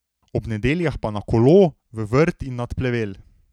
Ob nedeljah pa na kolo, v vrt in nad plevel.